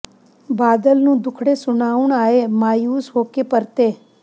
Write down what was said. ਬਾਦਲ ਨੂੰ ਦੁੱਖੜੇ ਸੁਣਾਉਣ ਆਏ ਮਾਯੂਸ ਹੋ ਕੇ ਪਰਤੇ